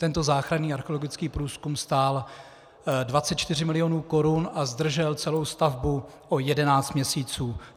Tento záchranný archeologický průzkum stál 24 milionů korun a zdržel celou stavbu o 11 měsíců.